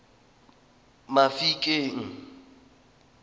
mafikeng